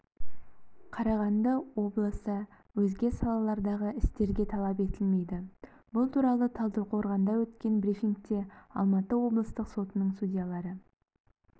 қарағанды облысы өзге салалардағы істерге талап етілмейді бұл туралы талдықорғанда өткен брифингте алматы облыстық сотының судьялары